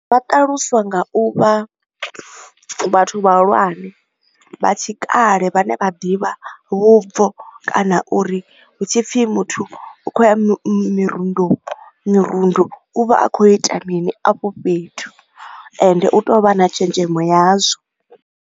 Vha ṱaluswa nga u vha vhathu vhahulwane vha tshikale vhane vha ḓivha vhubvo kana uri hu tshi pfi muthu u khou ya mirundo mirundu, u vha a khou ita mini afho fhethu ende u tea u vha a na tshenzhemo yazwo.